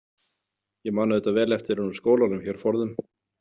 Ég man auðvitað vel eftir henni úr skólanum hér forðum.